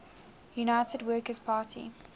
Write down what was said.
united workers party